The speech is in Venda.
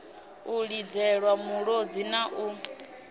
u lidzelwa mulodzi na u